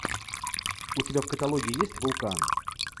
у тебя в каталоге есть вулкан